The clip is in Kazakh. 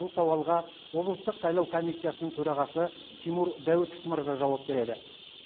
бұл сауалға облыстық сайлау комиссиясының төрағасы тимур дәуітов мырза жауап береді